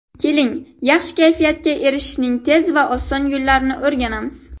Keling, yaxshi kayfiyatga erishishning tez va oson yo‘llarini o‘rganamiz.